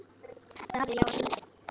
Davíð: Já, að syngja.